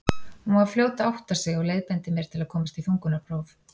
Hún var fljót að átta sig og leiðbeindi mér til að komast í þungunarpróf.